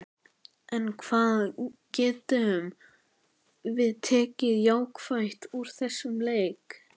En hvað getum við tekið jákvætt úr þessum leik?